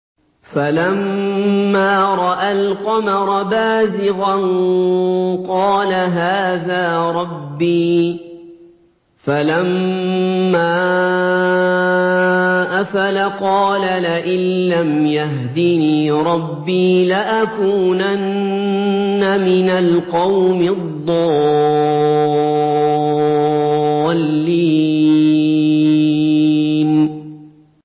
فَلَمَّا رَأَى الْقَمَرَ بَازِغًا قَالَ هَٰذَا رَبِّي ۖ فَلَمَّا أَفَلَ قَالَ لَئِن لَّمْ يَهْدِنِي رَبِّي لَأَكُونَنَّ مِنَ الْقَوْمِ الضَّالِّينَ